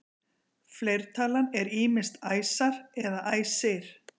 fleirtalan er ýmist æsar eða æsir